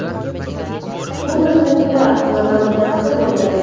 Bu narsani piar qilaman degan fikr bo‘lmagan.